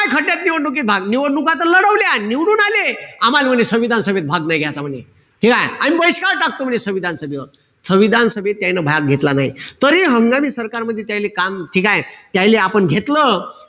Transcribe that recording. खड्ड्यात निवडणुकीत भाग. निवडणूक त लढवल्या. निवडून आले. आम्हाल म्हणे संविधान सभेत भाग नाई घ्याचा म्हणे. ठीकेय? आम्ही बहिष्कार टाकतो म्हणे संविधान सभेवर. संविधान सभेत त्याईनं भाग घेतला नाई. तरी हंगामी सरकारमध्ये त्याईले काम ठीकेय? त्याईले आपण घेतलं.